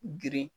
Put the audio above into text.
Girin